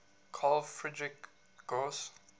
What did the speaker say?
carl friedrich gauss